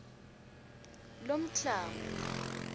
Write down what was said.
lomklamo